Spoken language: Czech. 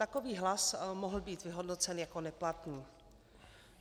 Takový hlas mohl být vyhodnocen jako neplatný.